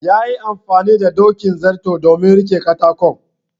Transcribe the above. yayi amfani da dokin zarto domin rike katakon